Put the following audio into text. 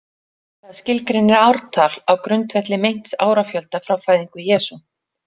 Það skilgreinir ártal á grundvelli meints árafjölda frá fæðingu Jesú.